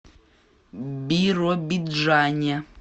биробиджане